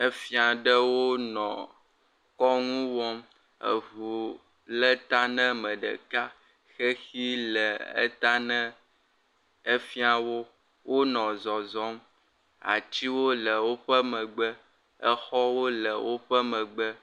Efia ɖewo nɔ kɔnu wɔm, eŋu le ta na ame ɖeka xexi le eta ne efiawo, wonɔ zɔzɔm, atiwo le woƒe megbe, exɔwo le woƒe megbe.